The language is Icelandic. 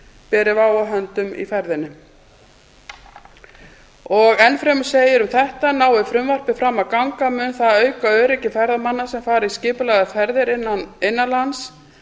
beri vá að höndum í ferðinni og enn fremur segir um þetta nái frumvarpið fram að ganga mun það auka öryggi ferðamanna sem fara í skipulagðar ferðir innan lands